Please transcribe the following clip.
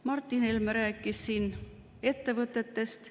Martin Helme rääkis siin ettevõtetest.